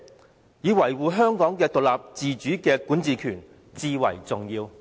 反之，應把維護香港獨立自主的管治權視為最重要。